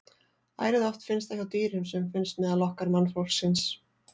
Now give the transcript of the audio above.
Ærið oft finnst það hjá dýrum sem finnst meðal okkar mannfólksins.